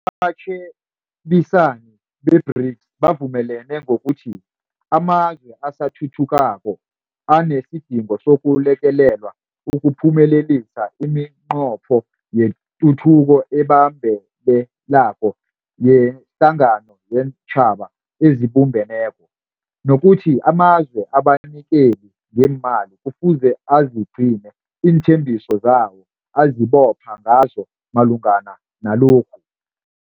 Abatjhebisani be-BRICS bavumelene ngokuthi amazwe asathuthukako anesidingo sokulekelelwa ukuphumelelisa imiNqopho yeTuthuko eBambelelako yeHlangano yeenTjhaba eziBumbeneko, nokuthi amazwe abanikeli ngeemali kufuze azigcine iinthembiso zawo azibopha ngazo malungana nalokhu.